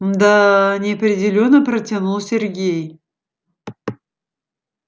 мда-а-а неопределённо протянул сергей